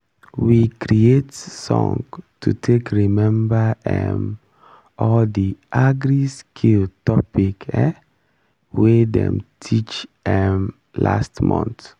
we creat song to take remember um all the agri-skill topic um wey dem teach um last month